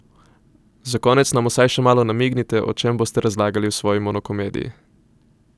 Za konec nam vsaj še malo namignite, o čem boste razlagali v svoji monokomediji!